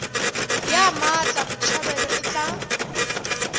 ya mmatla botshabelo e tla